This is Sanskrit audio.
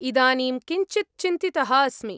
इदानीं किञ्चित् चिन्तितः अस्मि।